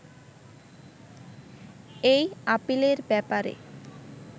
এই আপীলের ব্যাপারে